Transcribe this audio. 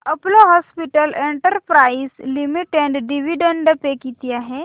Apollo hospitals enterprise limited dividend pay किती आहे